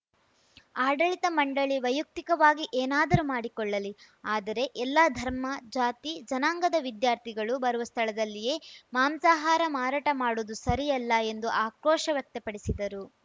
ಆಡಳಿತ ಮಂಡಳಿ ವೈಯಕ್ತಿಕವಾಗಿ ಏನಾದರೂ ಮಾಡಿಕೊಳ್ಳಲಿ ಆದರೆ ಎಲ್ಲಾ ಧರ್ಮ ಜಾತಿ ಜನಾಂಗದ ವಿದ್ಯಾರ್ಥಿಗಳು ಬರುವ ಸ್ಥಳದಲ್ಲಿಯೇ ಮಾಂಸಾಹಾರ ಮಾರಾಟ ಮಾಡುವುದು ಸರಿಯಲ್ಲ ಎಂದು ಆಕ್ರೋಶ ವ್ಯಕ್ತಪಡಿಸಿದರು